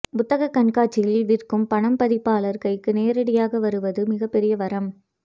புத்தகக் கண்காட்சியில் விற்கும்பணம் பதிப்பாளர் கைக்கு நேரடியாக வருவது மிகப்பெரிய வரம்